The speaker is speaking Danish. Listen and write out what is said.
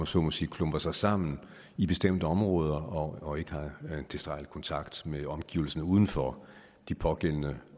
så må sige klumper sig sammen i bestemte områder og ikke har tilstrækkelig kontakt med omgivelserne uden for de pågældende